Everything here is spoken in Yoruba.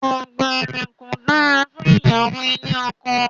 Àgbèrè kò dára fún ìyàwó ilé ọkọ.